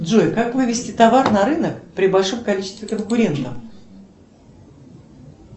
джой как вывести товар на рынок при большом количестве конкурентов